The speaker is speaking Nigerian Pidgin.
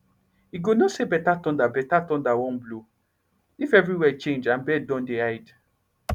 you go know say better thunder better thunder wan blow if everywhere change and bird don dey hide